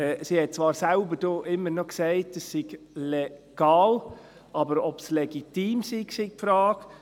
Immerhin hat sie zwar selbst noch gesagt, es sei legal, aber ob es legitim ist, sei die Frage.